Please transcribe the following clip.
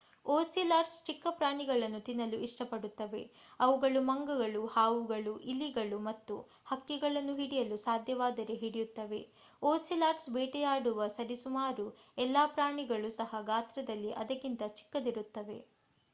ocelots ಚಿಕ್ಕ ಪ್ರಾಣಿಗಳನ್ನು ತಿನ್ನಲು ಇಷ್ಟಪಡುತ್ತವೆ ಅವುಗಳು ಮಂಗಗಳು ಹಾವುಗಳು ಇಲಿಗಳು ಮತ್ತು ಹಕ್ಕಿಗಳನ್ನು ಹಿಡಿಯಲು ಸಾಧ್ಯವಾದರೆ ಹಿಡಿಯುತ್ತವೆ ಓಸಿಲಾಟ್ಸ್ ಬೇಟೆಯಾಡುವ ಸರಿಸುಮಾರು ಎಲ್ಲಾ ಪ್ರಾಣಿಗಳು ಸಹ ಗಾತ್ರದಲ್ಲಿ ಅದಕ್ಕಿಂತ ಚಿಕ್ಕದಿರುತ್ತವೆ